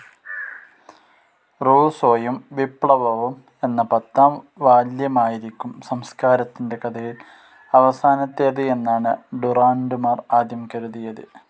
റുസ്സോയും വിപ്ലവവും എന്ന പത്താം വാല്യമായിരിക്കും സംസ്കാരത്തിന്റെ കഥയിൽ അവസാനത്തേത് എന്നാണ് ഡുറാന്റുമാർ ആദ്യം കരുതിയത്.